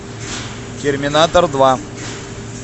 терминатор два